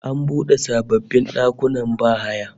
An bude sababbin dakunan bahaya